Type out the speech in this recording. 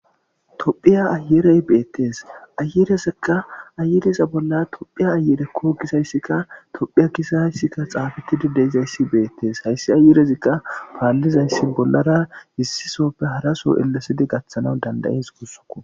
tophiya ayerey beettees ayirezekka ayiriza bolla tophiya ayerekko gizayssikka tophiya gisayssikka xaabetidi deizayssi beettees hayssi ayirezikka paallizayssi bollara hissisoppe haraso ellesidi gaththanaw dandayes gussako